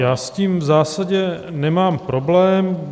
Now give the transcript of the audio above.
Já s tím v zásadě nemám problém.